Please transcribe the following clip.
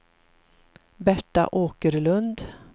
Berta Åkerlund